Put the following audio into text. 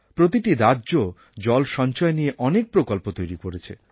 প্রতিটি রাজ্য জল সঞ্চয় নিয়ে অনেক প্রকল্প তৈরি করেছে